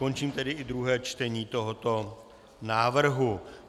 Končím tedy i druhé čtení tohoto návrhu.